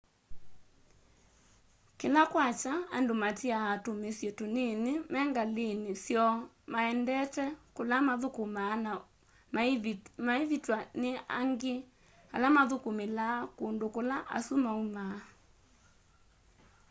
kĩla kwakya andũ matĩaa tũmĩsyĩ tũnĩnĩ mengalĩnĩ syoo maendete kũla mathũkũmaa na maĩvĩtwa nĩ angĩ ala mathũkũmĩlaa kũndũ kũla asũ maũma